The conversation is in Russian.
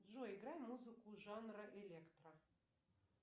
джой играй музыку жанра электро